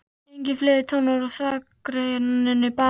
Engir fiðlutónar úr þakrennunni, bara brak.